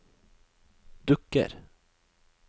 dukker